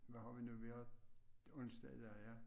Hvad har vi nu vi har onsdag i dag ja